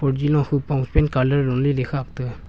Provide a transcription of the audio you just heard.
Huji ne hupong pant colour le khak tega.